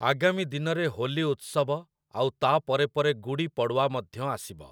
ଆଗାମୀ ଦିନରେ ହୋଲି ଉତ୍ସବ ଆଉ ତା' ପରେ ପରେ ଗୁଡ଼ି ପଡ଼ୱା ମଧ୍ୟ ଆସିବ ।